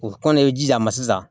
O kɔnnen ma sisan